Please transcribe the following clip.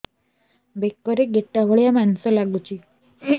ବେକରେ ଗେଟା ଭଳିଆ ମାଂସ ଲାଗୁଚି